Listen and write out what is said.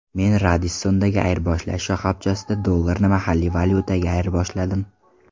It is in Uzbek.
Men Radisson’dagi ayirboshlash shoxobchasida dollarni mahalliy valyutaga ayirboshladim.